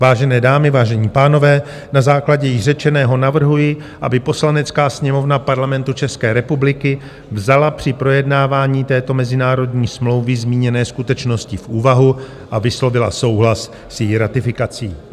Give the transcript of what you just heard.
Vážené dámy, vážení pánové, na základě již řečeného navrhuji, aby Poslanecká sněmovna Parlamentu České republiky vzala při projednávání této mezinárodní smlouvy zmíněné skutečnosti v úvahu a vyslovila souhlas s její ratifikací.